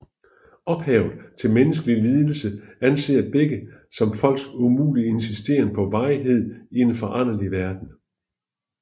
Ophavet til menneskelig lidelse anser begge som folks umulige insisteren på varighed i en foranderlig verden